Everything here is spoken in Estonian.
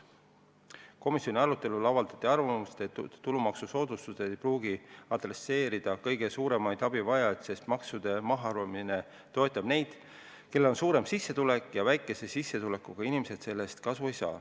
Komisjoni arutelul avaldati arvamust, et tulumaksusoodustus ei pruugi adresseerida kõige suuremaid abivajajaid, sest maksude mahaarvamine toetab neid, kellel on suurem sissetulek, ja väikese sissetulekuga inimesed sellest kasu ei saa.